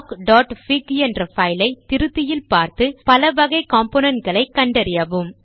blockபிக் என்ற பைல் ஐ திருத்தியில் பார்த்து பலவகை காம்போனன்ட்ஸ் ஐ கண்டறியவும்